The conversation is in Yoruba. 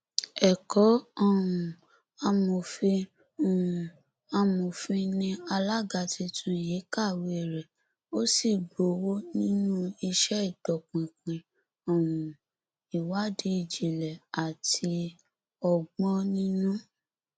ẹkọ um amòfin um amòfin ni alága tuntun yìí kàwéè rẹ ó sì gbowó nínú iṣẹ ìtọpinpin um ìwádìí ìjìnlẹ àti ọgbọninú